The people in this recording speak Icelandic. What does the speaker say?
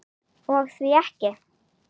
Og því ekki?